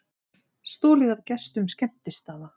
Stolið af gestum skemmtistaða